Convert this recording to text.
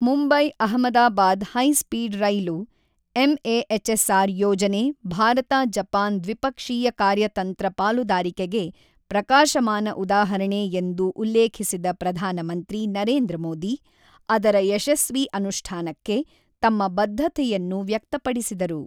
Mumbai Ahmedabad high speed ರೈಲು MAHSR ಯೋಜನೆ ಭಾರತ ಜಪಾನ್ ದ್ವಿಪಕ್ಷೀಯ ಕಾರ್ಯತಂತ್ರ ಪಾಲುದಾರಿಕೆಗೆ ಪ್ರಕಾಶಮಾನ ಉದಾಹರಣೆ ಎಂದು ಉಲ್ಲೇಖಿಸಿದ ಪ್ರಧಾನಮಂತ್ರಿ ನರೇಂದ್ರ ಮೋದಿ, ಅದರ ಯಶಸ್ವಿ ಅನುಷ್ಠಾನಕ್ಕೆ ತಮ್ಮ ಬದ್ಧತೆಯನ್ನು ವ್ಯಕ್ತಪಡಿಸಿದರು.